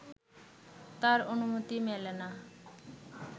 তার অনুমতি মেলে না